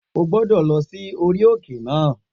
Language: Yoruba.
O gbọ́dọ̀ lọ sí orí òkè náà